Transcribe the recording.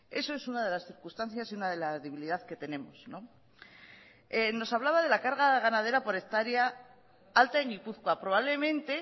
esa es una de las circunstancias y una de la debilidad que tenemos no nos hablaba de la carga ganadera por hectárea alta en gipuzkoa probablemente